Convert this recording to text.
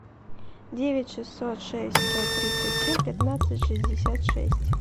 девять шестьсот шесть сто тридцать семь пятнадцать шестьдесят шесть